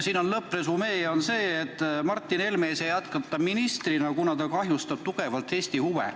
Siin on lõppresümee see, et Martin Helme ei saa jätkata ministrina, kuna ta kahjustab tugevalt Eesti huve.